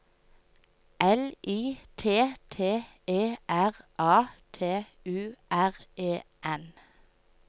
L I T T E R A T U R E N